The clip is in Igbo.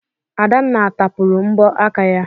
Adanna tapụrụ mbọ aka ya.